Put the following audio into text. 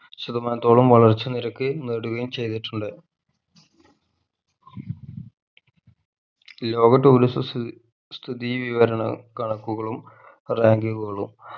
ശതമാനത്തോളം വളർച്ച നിരക്ക് നേടുകയും ചെയ്തിട്ടുണ്ട് വിനോദ tourism സ്ഥി സ്ഥിതി വിവരണ കണക്കുകളും ranking കളും